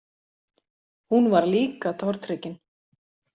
Hún var líka tortryggin.